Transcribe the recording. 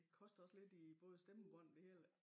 Det koster også lidt i både stemmebånd det hele